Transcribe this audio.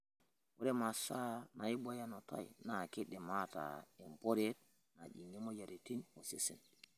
Ore masaa naibooyo enutai naa keidim ataa emporeet najing'ie moyiaritin osesen.